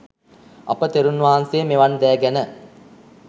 අප තෙරුන් වහන්සේ මෙවන් දෑ ගැන